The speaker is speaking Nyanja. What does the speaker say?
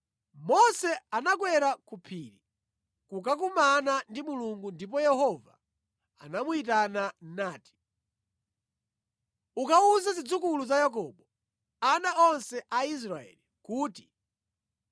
Mose anakwera ku phiri kukakumana ndi Mulungu ndipo Yehova anamuyitana nati, “Ukawuze zidzukulu za Yakobo, ana onse a Israeli kuti,